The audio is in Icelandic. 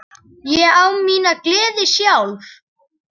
Ég á mína gleði sjálf.